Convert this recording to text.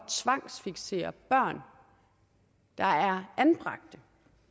tvangsfiksere børn der er anbragt